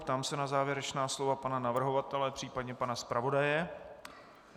Ptám se na závěrečná slova pana navrhovatele, případně pana zpravodaje.